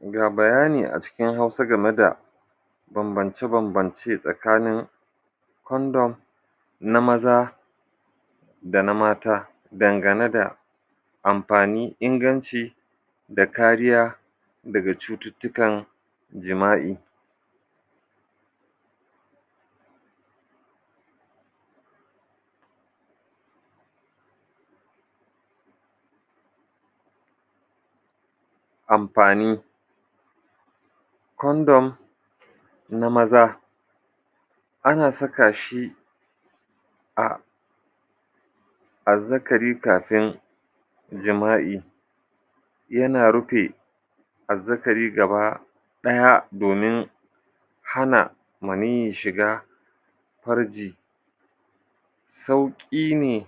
Ga bayani a cikin Hausa game da bambance-bambance tsakanin kondom na maza da na mata dangane da amfani, inganci da kariya daga cututtukan jima'i. Amfani: Kondom na maza ana saka shi a azzakari kafin jima'i. Yana rufe azzakari gaba ɗaya domin hana maniyyi shiga farji. Sauƙi ne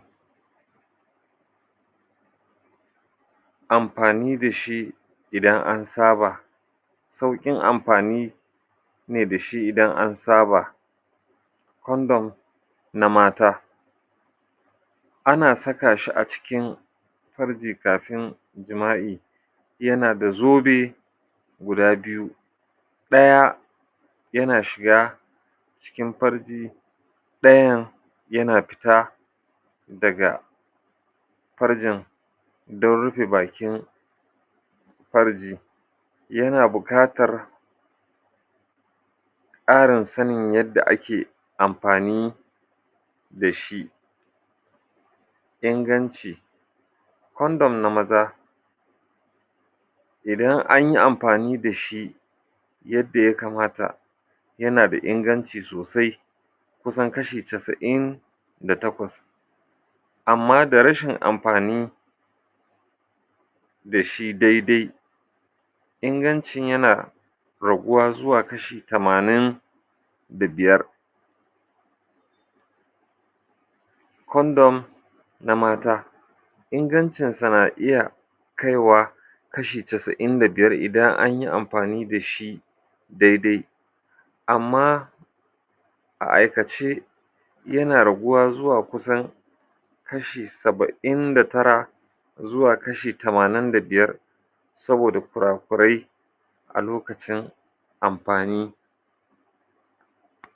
amfani da shi idan an saba; sauƙin amfani ne da shi idan an saba. Kondom na mata: ana saka shi a cikin farji kafin jima'i. Yana da zobe guda biyu. Ɗaya yana shiga cikin farki. Ɗayan yana fita daga farjin don rufe bakin farji. Yana bukatar ƙarin sanin yadda ake amfani da shi. Inganci: Kondom na maza idan an yi amfani da shi yadda ya kamata yana da inganci sosai kusan kashi casa'in da takwas Amma da rashin amfani da shi daidai, ingancin yana raguwa zuwa kashi tamanin da biyar Kondom na mata: Ingancinsa na iya kaiwa kashi casa'in da biyar in an yi amfani da shi daidai. Amma a aikace yana raguwa zuwa kusan kashi saba'in da tara zuwa kashi tamanin da biyar saboda kura-kurai a lokacin amfani.